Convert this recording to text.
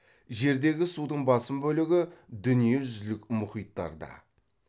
жердегі судың басым бөлігі дүние жүзілік мұхиттарда